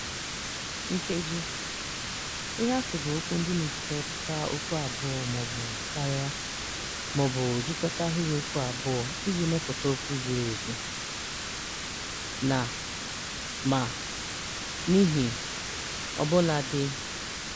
Nkeji (Conjunctions): Ihe atụ bụ okwu ndị na-ejikọta okwu abụọ ma ọ bụ karia, ma ọ bụ jikọta ahịrịokwu abụọ iji mepụta okwu zuru ezu: Na (And). Ma (But). N'ihi (Because). Ọbụladị (Even though).